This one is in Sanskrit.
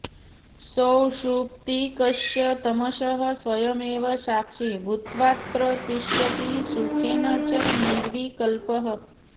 सौषुप्तिकस्य तमसः स्वयमेव साक्षी भूत्वात्र तिष्ठति सुखेन च निर्विकल्पः